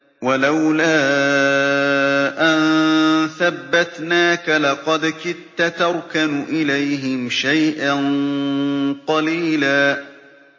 وَلَوْلَا أَن ثَبَّتْنَاكَ لَقَدْ كِدتَّ تَرْكَنُ إِلَيْهِمْ شَيْئًا قَلِيلًا